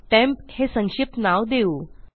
temp हे संक्षिप्त नाव देऊ